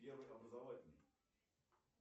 первый образовательный